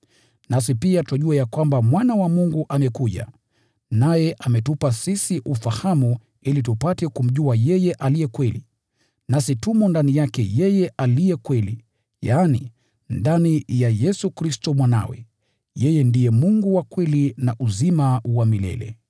Nasi pia twajua ya kwamba Mwana wa Mungu amekuja, naye ametupa sisi ufahamu ili tupate kumjua yeye aliye Kweli. Nasi tumo ndani yake yeye aliye Kweli, yaani, ndani ya Yesu Kristo Mwanawe. Yeye ndiye Mungu wa kweli na uzima wa milele.